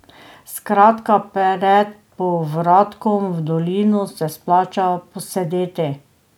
Skratka pred povratkom v dolino se splača posedeti.